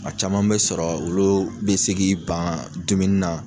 Kuma caman bɛ sɔrɔ olu bɛ se k'i ban dumuni na